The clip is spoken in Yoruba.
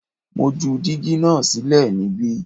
Mo ju dígí náà sílẹ̀ níbí